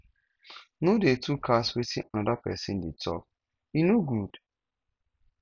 no dey to cast wetin anoda pesin dey tok e no good